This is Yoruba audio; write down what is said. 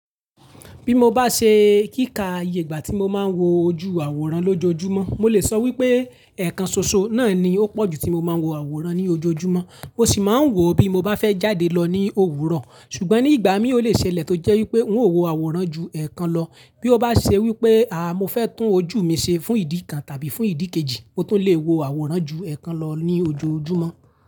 Bí mo bá ṣe kíkà iye ìgbà tí mo máa ń wo ojú àwòrán lójoojúmọ́, mo lè sọ wípé ẹ̀ẹ̀kan soso náà ni ó pọ̀ ju tí mo máa ń wo àwòrán ní ojoojúmọ́, mo sì máa ń wò ó bí mo bá fẹ́ jáde lọ ní òwúrọ̀. Ṣùgbọ́n ní ìgbà mí ò le ṣẹlẹ̀ tó jẹ́ wípé n ó wo àwòrán ju ẹ̀ẹ̀kan lọ. Bí ó bá ṣe wípé, àá mo fẹ́ tún ojú mi ṣe fún ìdí kan tàbí fún ìdí kejì, mo tún le wo àwòrán ju ẹ̀ẹ̀kan lọ ní ojoojúmọ́.